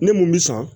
Ne mun bi san